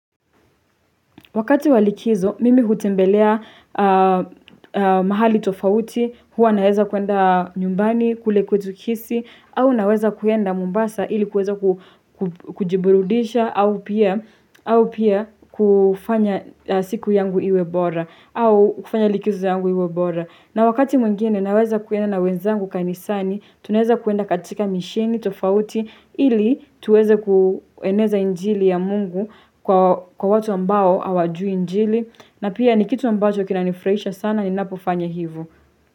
Wakati walikizo, mimi kutembelea mahali tofauti, huwa naweza kuenda nyumbani, kule kwetu kisii, au naweza kuenda mombasa ili kuweza kujiburudisha, au pia kufanya siku yangu iwe bora, au kufanya likizo yangu iwe bora. Na wakati mwingine naweza kuenda na wenzangu kanisani tunaeza kuenda katika misheni tofauti ili tuweza kueneza injili ya mungu kwa watu ambao hawajui injili na pia ni kitu ambacho kinanifurahisha sana ninapofanya hivo.